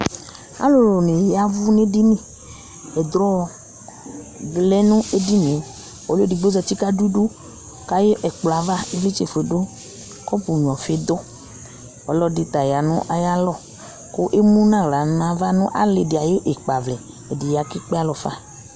alò ni ya vu n'ɛdini ɛdrɔ di lɛ no ɛdini yɛ ɔlò edigbo zati k'adu idu k'ayi ɛkplɔ ava ivlitsɛ fue do kɔpu nyua ɔfi do ɔlò ɛdi ta ya n'ayi alɔ k'emu n'ala n'ava n'ali di ayi ikpa vlɛ ɛdi ya k'ekpe alɔ fa